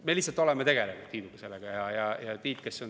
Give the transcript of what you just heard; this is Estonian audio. Me lihtsalt oleme Tiiduga sellega tegelenud.